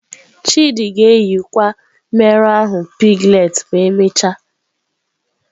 Chidi ga-eyikwa mmerụ ahụ piglets ma emechaa.